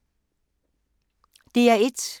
DR1